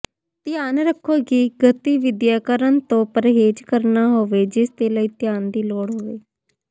ਧਿਆਨ ਰੱਖੋ ਕਿ ਗਤੀਵਿਧੀਆਂ ਕਰਨ ਤੋਂ ਪਰਹੇਜ਼ ਕਰਨਾ ਹੋਵੇ ਜਿਸਦੇ ਲਈ ਧਿਆਨ ਦੀ ਲੋੜ ਹੋਵੇ